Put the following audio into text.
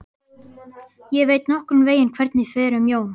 Ég veit nokkurn veginn hvernig fer um Jón.